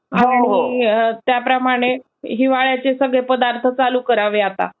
आणि त्याप्रमाणे हिवाळ्याच्ये सगळे पदार्थ चालू करावे आता.